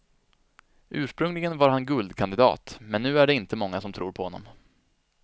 Ursprungligen var han guldkandidat, men nu är det inte många som tror på honom.